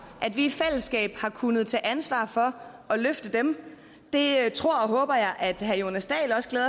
at vi i fællesskab har kunnet tage ansvar for at løfte dem det tror